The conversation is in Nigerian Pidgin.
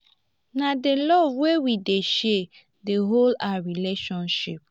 na di love wey we dey share dey hold our relationship.